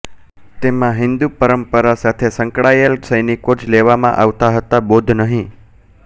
તેમાં હિંદુ પરંપરા સાથે સંકળાયેલ સૈનિકો જ લેવામાં આવતા હતા બૌદ્ધ નહિ